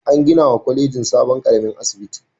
An ginawa kwalejin sabon ƙaramin asibiti.